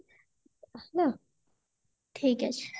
ଠିକ ଅଛି